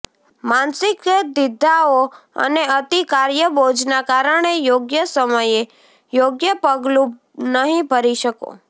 માનસિક દ્વિધાઓ અને અતિ કાર્યબોજના કારણે યોગ્ય સમયે યોગ્ય પગલું નહીં ભરી શકો